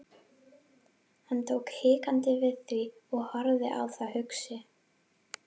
Hann tók hikandi við því og horfði á það hugsi.